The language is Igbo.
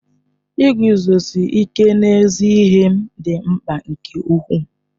Iguzosi ike n'ezi ihe m dị mkpa nke ukwuu.